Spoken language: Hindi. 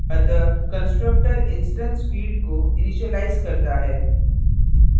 अतः constructor instance field को इनिशिलाइज करता है